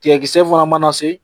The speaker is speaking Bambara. Tigɛ kisɛ fana mana se